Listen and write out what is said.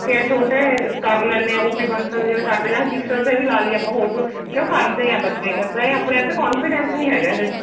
ਬੱਚੇ ਆ ਛੋਟੇ ਕਰ ਲੈਨੇ ਆ OPBansal ਜਿਵੇਂ ਕਰਦੇ ਆਪਾਂ ਜੀਸਸ ਵੀ ਲਾਲੀਏ ਆਪਾਂ ਹੋਰ ਚ ਤੇ ਉਹ ਕਰਦੇ ਆ ਬੱਚੇ ਇੱਦਾ ਆਪਣੇ ਆਪ ਤੇ confidence ਨਹੀਂ ਹੈਗਾ ਇਹਦੇ ਚ